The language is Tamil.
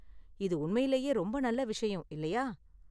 இது உண்மையிலேயே ரொம்ப நல்ல விஷயம், இல்லையா?